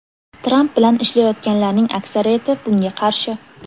Tramp bilan ishlayotganlarning aksariyati bunga qarshi.